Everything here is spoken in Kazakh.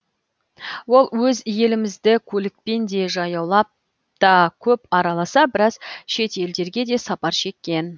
ол өз елімізді көлікпен де жаяулап та көп араласа біраз шет елдерге де сапар шеккен